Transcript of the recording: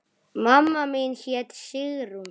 Mamma mín hét Sigrún.